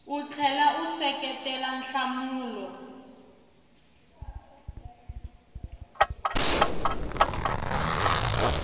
u tlhela u seketela nhlamulo